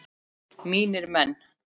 Mínir menn!